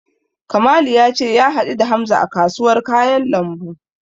Kamalu ya ce ya haɗu da Hamza a kasuwar kayan lambu.